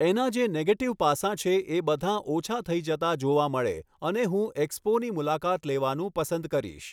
એનાં જે નેગેટિવ પાસાં છે એ બધાં ઓછા થઈ જતાં જોવા મળે અને હું ઍક્સપોની મુલાકાત લેવાનું પસંદ કરીશ